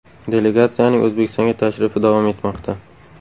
Delegatsiyaning O‘zbekistonga tashrifi davom etmoqda.